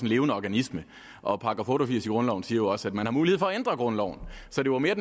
levende organisme og § otte og firs i grundloven siger jo også at man har mulighed for at ændre grundloven så det var mere